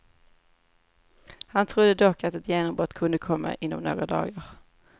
Han trodde dock att ett genombrott kunde komma inom några dagar.